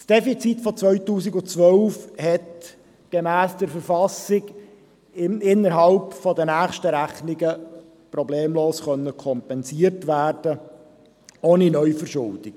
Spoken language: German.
Das Defizit von 2012 hat gemäss KV innerhalb der nächsten Rechnungen problemlos kompensiert werden können, ohne Neuverschuldung.